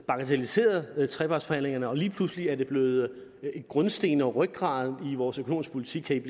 bagatelliseret trepartsforhandlingerne men lige pludselig er det blevet grundstenen og rygraden i vores økonomiske politik kan